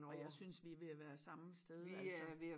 Og jeg synes vi er ved at være samme sted altså